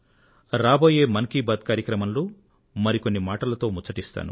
రాబోయే మనసులో మాట మన్ కీ బాత్ కార్యక్రమంలో మరికొన్ని మాటలు ముచ్చటిస్తాను